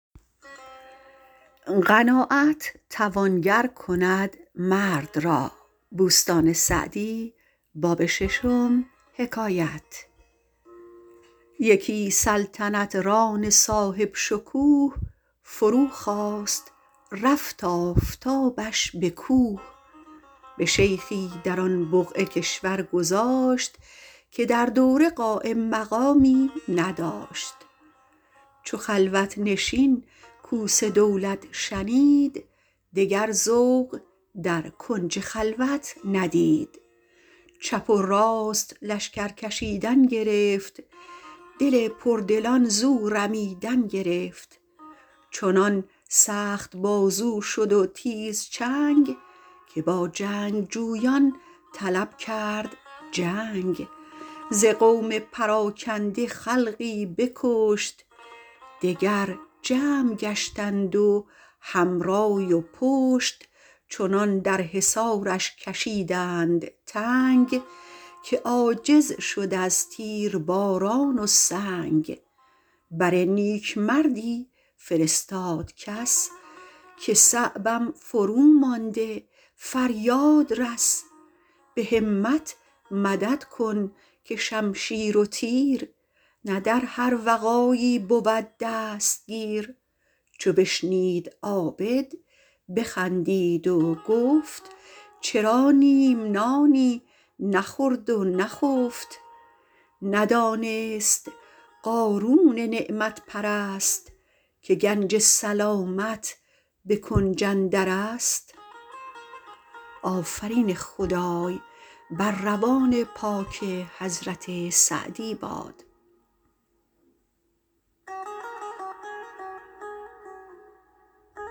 یکی سلطنت ران صاحب شکوه فرو خواست رفت آفتابش به کوه به شیخی در آن بقعه کشور گذاشت که در دوره قایم مقامی نداشت چو خلوت نشین کوس دولت شنید دگر ذوق در کنج خلوت ندید چپ و راست لشکر کشیدن گرفت دل پردلان زو رمیدن گرفت چنان سخت بازو شد و تیز چنگ که با جنگجویان طلب کرد جنگ ز قوم پراکنده خلقی بکشت دگر جمع گشتند و هم رای و پشت چنان در حصارش کشیدند تنگ که عاجز شد از تیرباران و سنگ بر نیکمردی فرستاد کس که صعبم فرومانده فریاد رس به همت مدد کن که شمشیر و تیر نه در هر وغایی بود دستگیر چو بشنید عابد بخندید و گفت چرا نیم نانی نخورد و نخفت ندانست قارون نعمت پرست که گنج سلامت به کنج اندر است